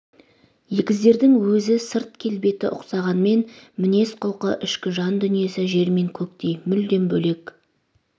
егіздердің өзі сырт келбеті ұқсағанмен мінез құлқы ішкі жан дүниесі жер мен көктей мүлдем бөлек